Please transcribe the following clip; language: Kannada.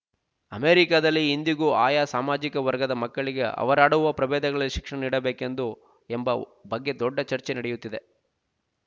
ಅಮೆರಿಕಾದಲ್ಲಿ ಇಂದಿಗೂ ಆಯಾ ಸಾಮಾಜಿಕ ವರ್ಗದ ಮಕ್ಕಳಿಗೆ ಅವರಾಡುವ ಪ್ರಭೇದಗಳಲ್ಲೆ ಶಿಕ್ಷಣ ನೀಡಬೇಕು ಎಂದು ಎಂಬ ಬಗ್ಗೆ ದೊಡ್ಡ ಚರ್ಚೆ ನಡೆಯುತ್ತಿದೆ